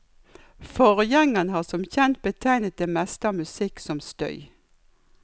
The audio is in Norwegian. Forgjengeren har som kjent betegnet det meste av musikk som støy.